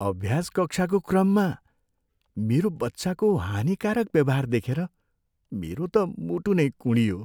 अभ्यास कक्षाको क्रममा मेरो बच्चाको हानिकारक व्यवहार देखेर मेरो त मुटु नै कुँडियो।